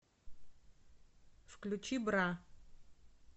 включи бра